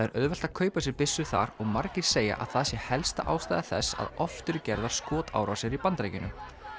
er auðvelt að kaupa sér byssu þar og margir segja að það sé helsta ástæða þess að oft eru gerðar skotárásir í Bandaríkjunum